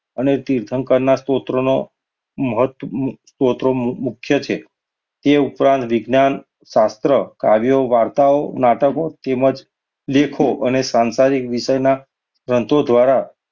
અને તીર્થંકરના સૂત્રોનો મહત્વ સૂત્રો મુખ્ય છે. એ ઉપરાંત વિજ્ઞાન, શાસ્ત્ર, કાવ્યો, વાર્તાઓ, નાટકો, તેમજ લેખો અને સાંસારિક વિષયના ગ્રંથો દ્વારા,